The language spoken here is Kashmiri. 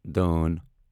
دأن